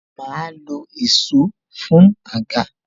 Ma lo èsó fún àga